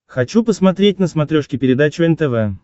хочу посмотреть на смотрешке передачу нтв